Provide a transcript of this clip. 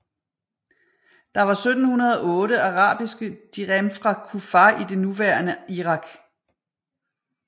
Der var 1708 arabiske dirhem fra Kufah i det nuværende Irak